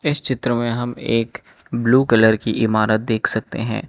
इस चित्र में हम एक ब्लू कलर की इमारत देख सकते हैं।